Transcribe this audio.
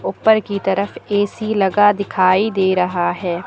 ऊपर की तरफ ए_सी लगा दिखाई दे रहा है।